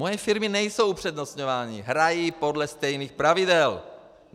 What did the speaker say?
Moje firmy nejsou upřednostňovány, hrají podle stejných pravidel.